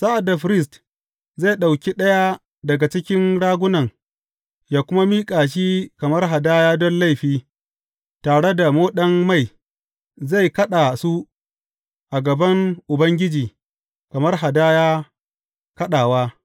Sa’ad da firist zai ɗauki ɗaya daga cikin ragunan ya kuma miƙa shi kamar hadaya don laifi, tare da moɗan mai; zai kaɗa su a gaban Ubangiji kamar hadaya kaɗawa.